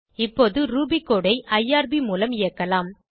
இப்போது Ruby code ஐ IRB மூலம் இயக்கலாம்